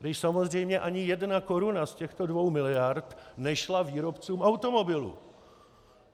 Když samozřejmě ani jedna koruna z těchto dvou miliard nešla výrobcům automobilů.